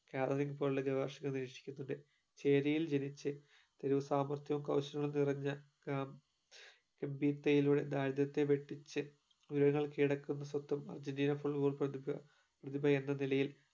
cabin ഉള്ള നിവാസികൾ വിക്ഷേപിക്കുന്നത് ചേരിയില് ജനിച്ച് തെരുവ് സമർത്യവും കൗശലവും നിറഞ്ഞ കാ മ്പതിലയിലുടെ ദാരിദ്രത്തെ വെട്ടിച് ഉയരങ്ങൾ കീഴടക്കുന്ന സ്വത്തും അർജന്റീനയുടെ ഉൾപ്പെടുക പ്രദിപ എന്ന നിലയിൽ